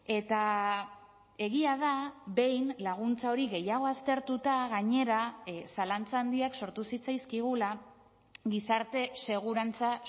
eta egia da behin laguntza hori gehiago aztertuta gainera zalantza handiak sortu zitzaizkigula gizarte segurantza